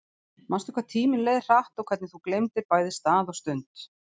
Manstu hvað tíminn leið hratt og hvernig þú gleymdir bæði stað og stund?